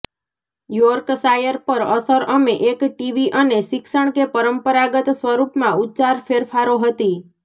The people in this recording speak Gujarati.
યોર્કશાયર પર અસર અમે એક ટીવી અને શિક્ષણ કે પરંપરાગત સ્વરૂપમાં ઉચ્ચાર ફેરફારો હતી